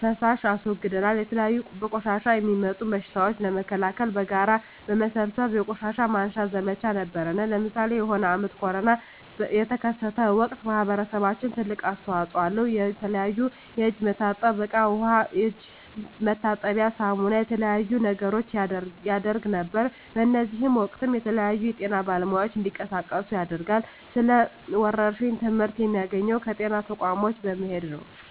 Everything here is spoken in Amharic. ፋሳሽ አስወግደናል የተለያዩ በቆሻሻ የሚጡም በሽቶችን ለመከላከል በጋራ በመሠብሰብ የቆሻሻ ማንሳት ዘመቻ ነበረነ ለምሳሌ የሆነ አመት ኮርና የተከሰተ ወቅት ማህበረሰባችን ትልቅ አስተዋጽኦ አለው የተለያዩ የእጅ መታጠብያ እቃ ዉሃ የእጅ መታጠቢያ ሳሙና የተለያዩ ነገሮችን ያረግ ነበር በእዚህም ወቅትም የተለያዩ የጤና ባለሙያዎች እንዲቀሳቀሱ ያደርጋል ስለ ወረርሽኝ ትመህርት የሚያገኘው ከጤና ተቋሞች በመሄድ ነው